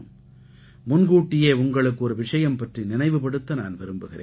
முன்கூட்டியே உங்களுக்கு ஒரு விஷயம் பற்றி நினைவுபடுத்த நான் விரும்புகிறேன்